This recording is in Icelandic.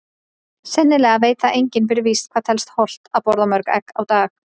Sennilega veit það enginn fyrir víst hvað telst hollt að borða mörg egg á dag.